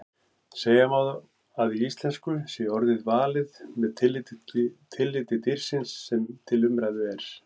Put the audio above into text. Segja má að í íslensku sé orðið valið með tilliti dýrsins sem til umræðu er.